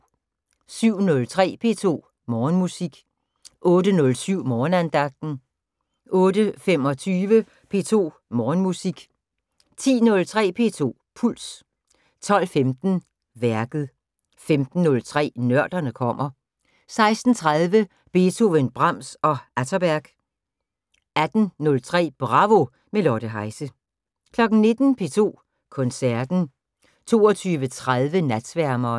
07:03: P2 Morgenmusik 08:07: Morgenandagten 08:25: P2 Morgenmusik 10:03: P2 Puls 12:15: Værket 15:03: Nørderne kommer 16:30: Beethoven, Brahms, og Atterberg 18:03: Bravo – med Lotte Heise 19:00: P2 Koncerten 22:30: Natsværmeren